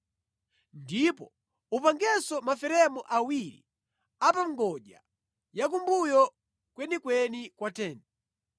Ndipo upangenso maferemu awiri a pa ngodya yakumbuyo kwenikweni kwa tenti.